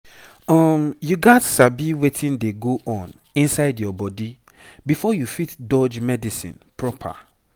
um you gats sabi wetin dey go on inside your body before you fit dodge medicine proper